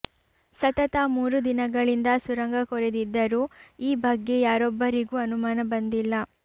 ಸತತ ಮೂರು ದಿನಗಳಿಂದ ಸುರಂಗ ಕೊರೆದಿದ್ದರೂ ಈ ಬಗ್ಗೆ ಯಾರೊಬ್ಬರಿಗೂ ಅನುಮಾನ ಬಂದಿಲ್ಲ